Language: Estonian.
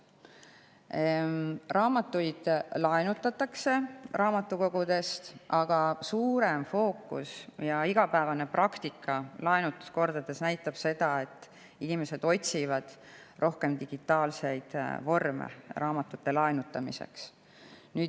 Raamatuid raamatukogudest laenutatakse, aga fookus on sellel, mida näitab ka laenutuse igapäevane praktika, et inimesed otsivad laenutamiseks rohkem digitaalseid vorme.